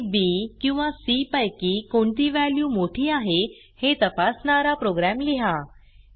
आ B किंवा C पैकी कोणती व्हॅल्यू मोठी आहे हे तपासणारा प्रोग्रॅम लिहा